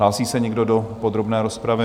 Hlásí se někdo do podrobné rozpravy?